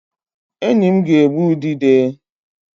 Enyi m ga-egbu udide